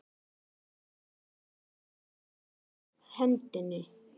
Pabbi kippti að sér hendinni.